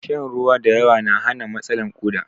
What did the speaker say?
Shan ruwan da yawa na hana matsalan koɗa